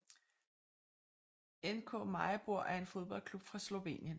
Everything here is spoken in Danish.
NK Maribor er en fodboldklub fra Slovenien